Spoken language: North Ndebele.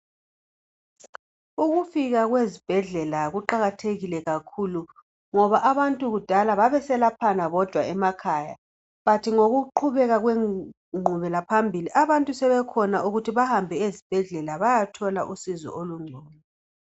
Ukufika kwezibhedlela kuqakathekile kakhulu ngoba abantu kudala babeselaphana bodwa emakhaya bhathi ngokuqhubeka kwequbekela phambili abantu sebekhona ukuthi bahambe ezibhedlela bayethola usizo olungcono